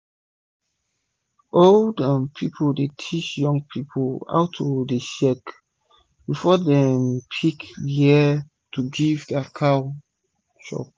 old um people dey teach young people how to dey check san-san before dem pick wia um to giv dia cow chop